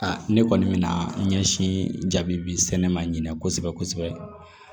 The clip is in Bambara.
ne kɔni bɛ na ɲɛsin jaabi sɛnɛ ma ɲinɛn kosɛbɛ kosɛbɛ